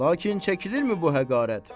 Lakin çəkilirmi bu həqavət?